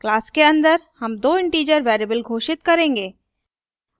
class के अन्दर हम दो integer variables घोषित करेंगे